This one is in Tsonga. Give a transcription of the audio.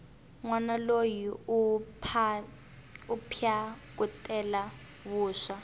nwana loyi u phyakutela vuswa